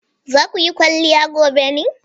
Za ku yi kwaliya gobe ne?